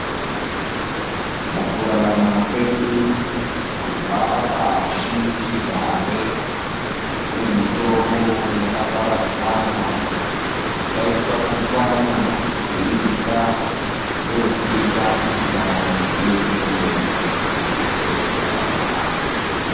Mukurarama kwedu kubva pashichigare, kune mitombo yakaparadzana, yataichwanya chwanya teirya kuri kuita kuti ndaramo iende kumberi kana kupetuka pandau.